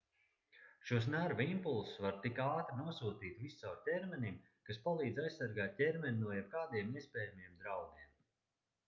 šos nervu impulsus var tik ātri nosūtīt viscaur ķermenim kas palīdz aizsargāt ķermeni no jebkādiem iespējamiem draudiem